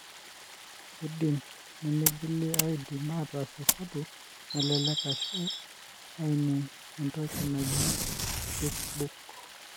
keidim nemingil aidima ataas esabu nalelek ashu aineng entoki naaji checkbook.